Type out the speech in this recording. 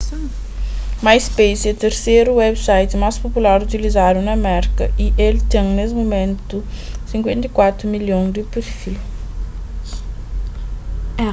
myspace é terseru website más popular utilizadu na merka y el ten nes mumentu 54 milhon di perfil